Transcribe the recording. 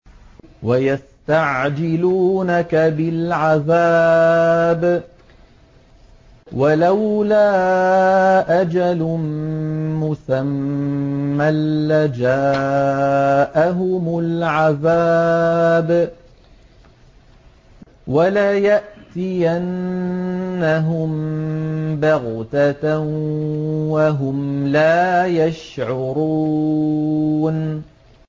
وَيَسْتَعْجِلُونَكَ بِالْعَذَابِ ۚ وَلَوْلَا أَجَلٌ مُّسَمًّى لَّجَاءَهُمُ الْعَذَابُ وَلَيَأْتِيَنَّهُم بَغْتَةً وَهُمْ لَا يَشْعُرُونَ